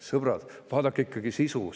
Sõbrad, vaadake ikkagi sisu ka!